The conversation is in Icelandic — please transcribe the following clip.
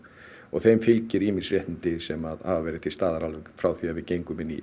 og þeim fylgir ýmis réttindi sem hafa verið til staðar alveg frá því við gengum inn í